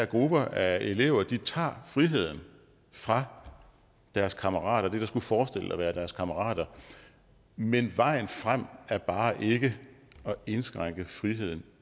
grupper af elever tager friheden fra deres kammerater fra dem der skulle forestille at være deres kammerater men vejen frem er bare ikke at indskrænke friheden